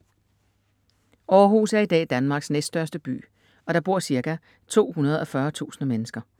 Århus er i dag Danmarks næststørste by og der bor ca. 240.000 mennesker.